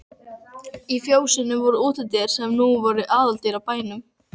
Á fjósinu voru útidyr sem nú voru aðaldyrnar á bænum.